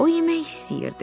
O yemək istəyirdi.